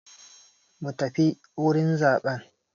Mu tafi wurin zaɓen!